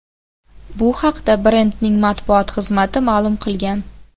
Bu haqda brendning matbuot xizmati ma’lum qilgan.